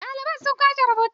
Ɗaliban sun kwashe rubutu.